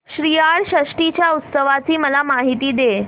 श्रीयाळ षष्टी च्या उत्सवाची मला माहिती दे